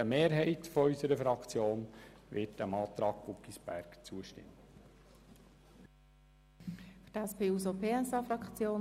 Eine Mehrheit unserer Fraktion wird dem Antrag Guggisberg zustimmen.